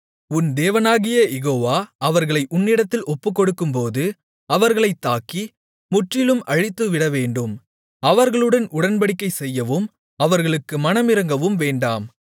உன் தேவனாகிய யெகோவா அவர்களை உன்னிடத்தில் ஒப்புக்கொடுக்கும்போது அவர்களைத் தாக்கி முற்றிலும் அழித்துவிடவேண்டும் அவர்களுடன் உடன்படிக்கைசெய்யவும் அவர்களுக்கு மனமிரங்கவும் வேண்டாம்